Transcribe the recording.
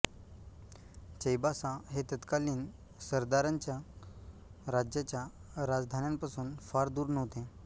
चैबासा हे तत्कालीन सरदारांच्या राज्याच्या राजधान्यांपासून फार दूर नव्हते